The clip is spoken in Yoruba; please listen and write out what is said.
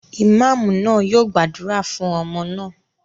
Ìmáámù náà yóò gbàdúrà fún ọmọ náà.